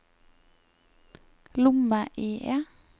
lomme-IE